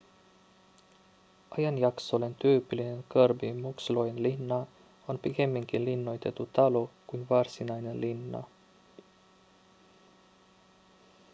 ajanjaksolleen tyypillinen kirby muxloen linna on pikemminkin linnoitettu talo kuin varsinainen linna